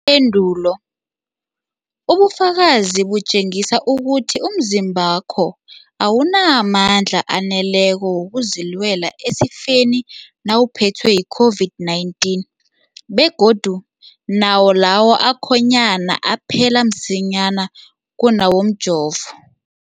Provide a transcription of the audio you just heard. endulo, ubufakazi butjengisa ukuthi umzimbakho awunamandla aneleko wokuzilwela esifeni nawuphethwe yi-COVID-19, begodu nawo lawo akhonyana aphela msinyana kunawomjovo.